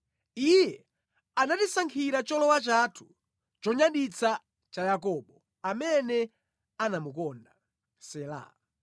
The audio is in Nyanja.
Iye anatisankhira cholowa chathu, chonyaditsa cha Yakobo, amene anamukonda. Sela